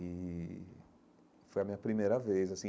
E foi a minha primeira vez, assim.